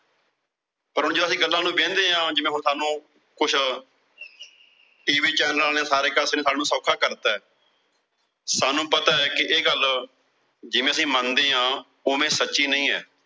ਪਰ ਹੁਣ ਜੇ ਅਸੀਂ ਗੱਲਾਂ ਨੂੰ ਵਿਹਦੇ ਆਂ ਜਿਵੇਂ ਹੁਣ ਸਾਨੂੰ ਕੁਸ਼ TV ਚੈਨਲਾਂ ਨੇ ਸਾਰੇ ਕਾਸੇ ਨੇ ਸਾਨੂੰ ਸੌਖਾ ਕਰਤਾ ਸਾਨੂੰ ਪਤਾ ਕਿ ਇਹ ਗੱਲ ਜਿਵੇਂ ਅਸੀਂ ਮੰਨਦੇ ਆਂ, ਉਵੇਂ ਸੱਚੀ ਨਹੀਂ ਐ।